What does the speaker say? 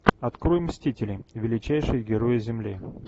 открой мстители величайшие герои земли